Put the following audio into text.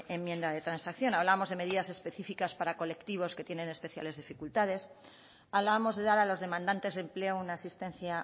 enmienda de transacción hablábamos de medidas específicas para colectivos que tienen especiales dificultades hablábamos de dar a los demandantes de empleo una asistencia